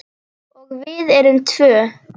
Og við erum tvö.